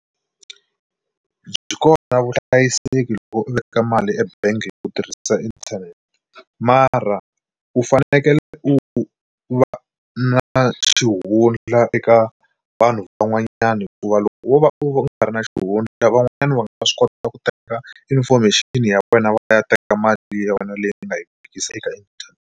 Byi kona vuhlayiseki loko u veka mali ebangi hi ku tirhisa inthanete mara u fanekele u va na xihundla eka vanhu van'wanyana hikuva loko wo va u ri na xihundla van'wanyana va nga swi kota ku teka information ya wena va ya teka mali ya wena leyi i nga yi vekisa eka .